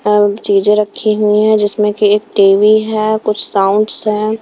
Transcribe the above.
M चीजें रखी हुई है जिसमें कि एक टी|_वी है कुछ साउंड्स हैं।